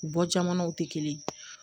U bɔ jamanaw tɛ kelen ye